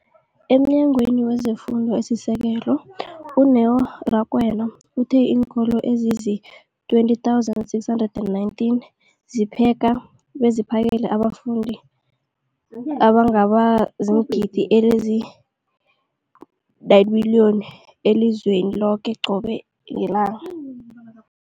EmNyangweni wezeFundo esiSekelo, u-Neo Rakwena, uthe iinkolo ezizi-20 619 zipheka beziphakele abafundi abangaba ziingidi ezili-9 032 622 elizweni loke qobe ngelanga.